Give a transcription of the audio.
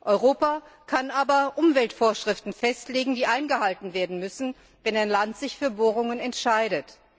Europa kann aber Umweltvorschriften festlegen, die eingehalten werden müssen, wenn ein Land sich für Bohrungen entscheidet.